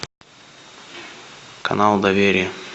канал доверие